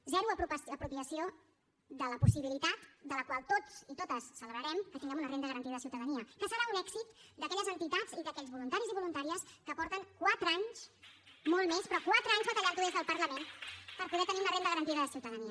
zero apropiació de la possibilitat de la qual tots i totes celebrarem que tinguem una renda garantida de ciutadania que serà un èxit d’aquelles entitats i d’aquells voluntaris i voluntàries que fa quatre anys molt més però quatre anys que ho batallen des del parlament per tenir una renda garantida de ciutadania